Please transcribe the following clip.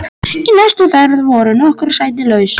Í næstu ferð voru nokkur sæti laus.